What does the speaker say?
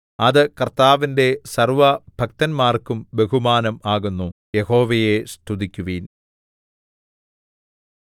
അത് കർത്താവിന്റെ സർവ്വഭക്തന്മാർക്കും ബഹുമാനം ആകുന്നു യഹോവയെ സ്തുതിക്കുവിൻ